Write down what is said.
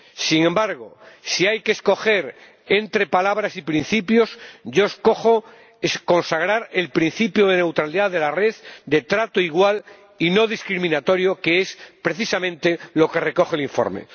Sin embargo, si hay que escoger entre palabras y principios, yo escojo consagrar el principio de neutralidad de la red, de trato igual y no discriminatorio, que es precisamente lo que recoge el informe.